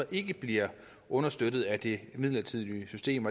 ikke bliver understøttet af det midlertidige system